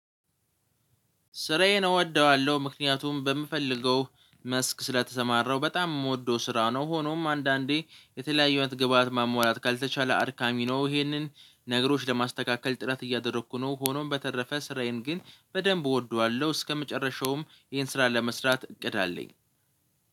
ስራዬን እወደዋለሁ ምክንያቱም በምፈልገው መስክ ስለተሰማራሁ በጣም የምወደው ስራ ነው። ሆኖም አንዳንዴ የተለያዩ አይነት ግብአት ማሟላት ካልተቻለ አድካሚ ነው። ይሄንን ነገሮች ለማስተካከል ጥረት እያደረኩ ነው። ሆኖም በተረፈ ስራዬን ግን በደንብ እወደዋለሁ እስከመጨረሻውም ይሄን ስራ ለመስራት እቅድ አለኝ።